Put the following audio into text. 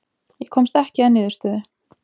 Ég komst ekki að niðurstöðu.